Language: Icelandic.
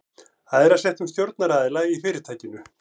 æðra settum stjórnaraðila í fyrirtækinu.